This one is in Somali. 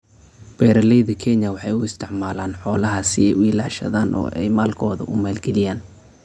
Beeralayda Kenya waxay u isticmaalaan xoolaha si ay u ilaashadaan oo ay maalkooda u maalgeliyaan.